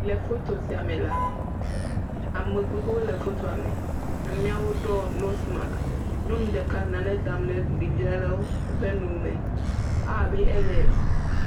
Le foto sia me la, ame gbogbowo le fotoa me. Amewo ɖɔ nosimaks nyɔnu ɖeka le nane dam ɖe ɖevia ɖe ƒe nu me. Ewɔ abe ele